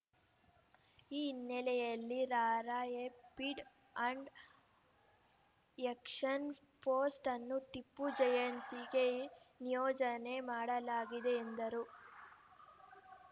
ಈ ಹಿನ್ನೆಲೆಯಲ್ಲಿ rapid and action post ಅನ್ನು ಟಿಪ್ಪು ಜಯಂತಿಗೆ ನಿಯೋಜನೆ ಮಾಡಲಾಗಿದೆ ಎಂದರು